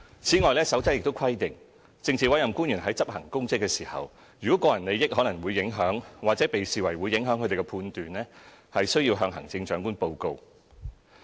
此外，《守則》亦規定政治委任官員在執行公職時，如個人利益可能會影響，或被視為會影響他們的判斷，均須向行政長官報告。